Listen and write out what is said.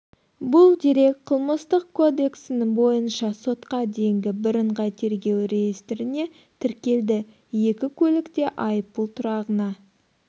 бұл дерек қылмыстық кодексінің бойынша сотқа дейінгі бірыңғай тергеу реестріне тіркелді екі көлік те айыппұл тұрағына